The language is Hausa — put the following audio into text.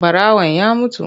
Ɓarawan ya mutu.